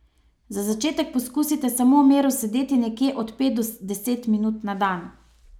Za začetek poskusite samo v miru sedeti nekje od pet do deset minut na dan.